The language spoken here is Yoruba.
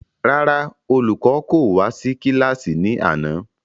Rárá, olùkọ́ kò wá sí kílàsì ní àná